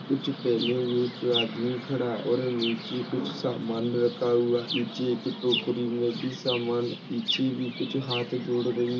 कुछ पहने हुए एक आदमी खड़ा है और नीचे कुछ सामान रखा हुआ पीछे एक टोकरी मे भी सामान पीछे भी कुछ हात जोड़ रही--